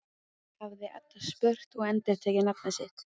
hafði Edda spurt og endurtekið nafnið sitt.